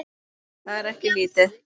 Það er ekki lítið.